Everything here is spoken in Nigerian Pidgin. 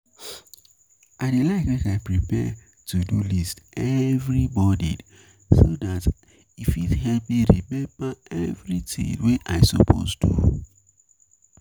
I dey like make I prepare to-do list every morning so dat e fit help me remember everything wey I suppose do.